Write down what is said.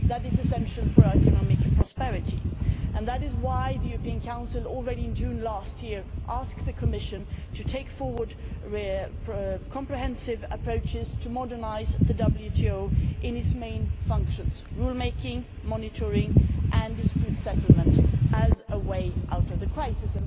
That is essential for our economic prosperity and that is why the European Council, already in June last year, asked the Commission to take forward comprehensive approaches to modernising the WTO in its main functions rulemaking, monitoring and dispute settlement as a way out of the crisis.